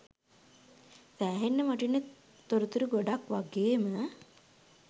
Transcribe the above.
සෑහෙන්න වටින තොරතුරු ගොඩක් වගේම